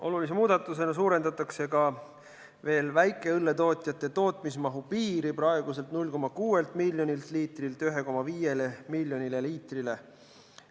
Olulise muudatusena suurendatakse väikeõlletootjate tootmismahu piiri praeguselt 0,6 miljonilt liitrilt 1,5 miljonile liitrile.